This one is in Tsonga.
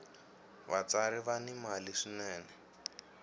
vatsari va ni mali swinene